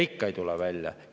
Ikka ei tule välja.